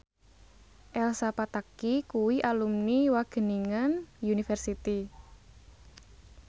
Elsa Pataky kuwi alumni Wageningen University